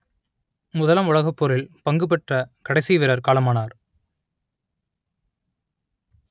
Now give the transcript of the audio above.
முதலாம் உலகப்போரில் பங்குபெற்ற கடைசி வீரர் காலமானார்